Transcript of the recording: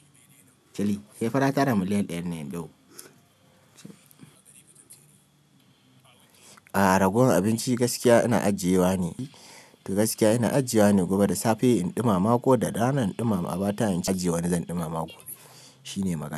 Kalli, sai fa ƙara miliyan ɗayan ne loe. A'a, ragowan abinci gaskiya ina ajiyewa ne. To gaskiya ina ajiyewa ne guba da safe in ɗumama ko da rana in ɗumama a ba ta in ci in ajiyewa ne zan ɗumama. Shi ne magana.